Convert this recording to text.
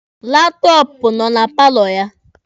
Laptọọpụ nọ na paalọ ya.